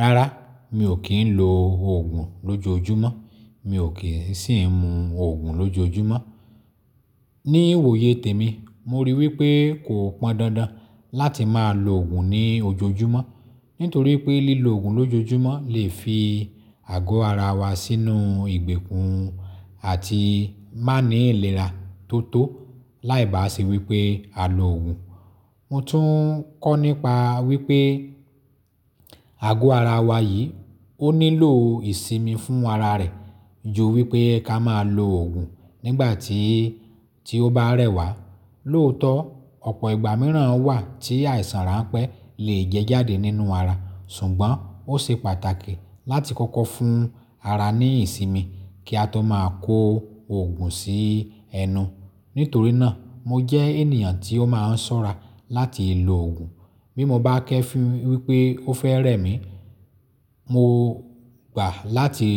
Rárá, mi ò kí ń lo òògùn lójoojúmọ́, mi ò kì í sì ń mu òògùn lójoojúmọ́. Ní iwòye tèmi, mo rí wípé kò pọn dandan láti máa lo òògùn ní ojoojúmọ́, nítorí pé lílo òògùn lójoojúmọ́ lè fi àgọ́ ara wa sínú ìgbèkùn àti má ní ìlera tó tó láì bá sì wípé á lo òògùn. Mo tún kọ́ nípa wípé àgọ́ ara wa yìí ó nílò ìsinmi fún ara rẹ̀ ju wípé ká máa lo òògùn nígbà tí tí ó bá rẹ̀ wá. Lóòótọ́ ọ̀pọ̀ ìgbà míràn wà tí àìsàn ránpẹ́ lè jẹjáde nínú ara, ṣùgbọ́n ó ṣe pàtàkì láti kọ́kọ́ fún ara ní ìsinmi kí a tó máa kó òògùn sí ẹnu. Nítorí náà, mo jẹ́ ènìyàn tí ó máa ń ṣọ́ra láti lo òògùn bí mo bá kẹ́fùn wípé ó fẹ́ rẹ̀ mí, mo gbà láti